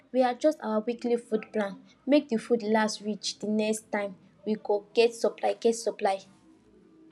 we adjust our weekly food plan make the food last reach the next time we go get supply get supply